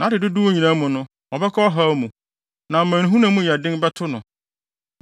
Nʼadedodow nyinaa mu no, ɔbɛkɔ ɔhaw mu; na amanehunu a emu yɛ den bɛto no.